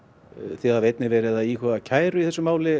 þið hafið einnig verið að íhuga kæru í þessu máli